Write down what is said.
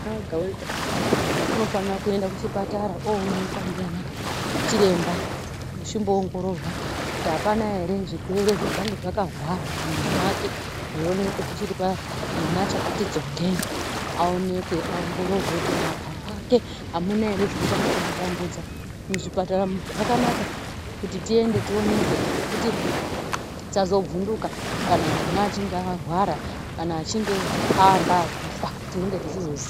Mwana wega wega unofana kuenda kuchipatara onekwa ngeana chiremba achimboongororwa apana ere zvirwere zvingange zvakahwara mumwiri wake zvioneke zvichiri pamwana, mwana achakati tsongei. Aonekwe angoororwe kuti mumapapu ake amuna here zvinonga zveimutambudza. Zvipatara zvakanaka..tiende tionekwe nekuti tisazovhunduke kana mwana achinge arwara kana achingeanga akufa tinenge tichiziva.